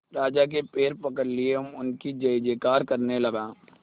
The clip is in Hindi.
राजा के पैर पकड़ लिए एवं उनकी जय जयकार करने लगा